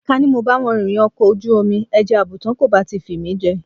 Ká ní mo bá wọn rìnrìnàjò ọkọ̀ ojú omi ẹja àbùùùtán kò bá ti fi mí jẹ.